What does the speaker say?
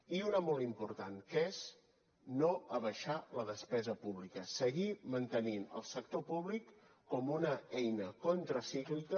i una de molt important que és no abaixar la despesa pública seguir mantenint el sector públic com una eina contracíclica